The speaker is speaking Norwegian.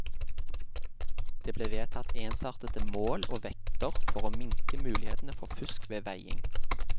Det ble vedtatt ensartede mål og vekter for å minke mulighetene for fusk ved veiing.